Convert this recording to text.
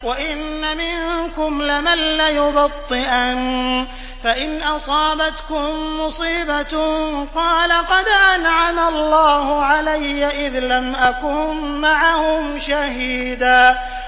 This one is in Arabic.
وَإِنَّ مِنكُمْ لَمَن لَّيُبَطِّئَنَّ فَإِنْ أَصَابَتْكُم مُّصِيبَةٌ قَالَ قَدْ أَنْعَمَ اللَّهُ عَلَيَّ إِذْ لَمْ أَكُن مَّعَهُمْ شَهِيدًا